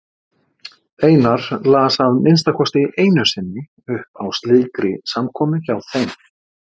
Einar las að minnsta kosti einu sinni upp á slíkri samkomu hjá þeim.